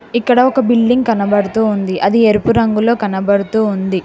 ఇక్కడ ఒక బిల్డింగ్ కనబడుతోంది అది ఎరుపు రంగులో కనబడుతూ ఉంది.